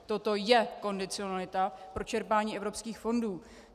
Toto je kondicionalita pro čerpání evropských fondů.